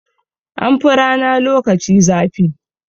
An fi rana lokaci zafi.